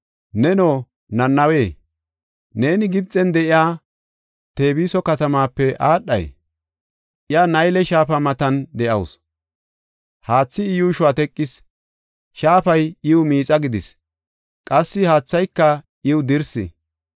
Neno, Nanawe, neeni Gibxen de7iya Tebiso katamape aadhay? Iya Nayle shaafa matan de7awusu; haathi I yuushuwa teqis; shaafay iw miixa gidis; qassi haathayka iw dirsi.